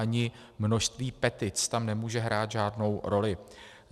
Ani množství petic tam nemůže hrát žádnou roli.